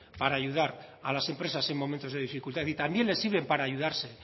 para ayudar a las empresas en momentos de dificultad y también les sirven para ayudarse